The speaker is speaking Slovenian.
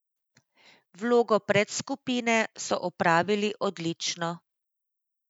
Vlogo predskupine so opravili odlično.